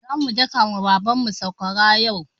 Zamu daka ma Baban mu sakwara yau.